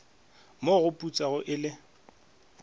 mo go putsago e le